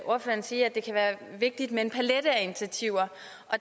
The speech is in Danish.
ordføreren sige at det kan være vigtigt med en palet af initiativer